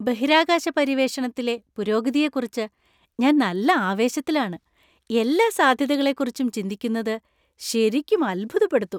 ബഹിരാകാശ പര്യവേഷണത്തിലെ പുരോഗതിയെക്കുറിച്ച് ഞാൻ നല്ല ആവേശത്തിലാണ്! എല്ലാ സാധ്യതകളെക്കുറിച്ചും ചിന്തിക്കുന്നത് ശെരിക്കും അത്ഭുതപ്പെടുത്തും .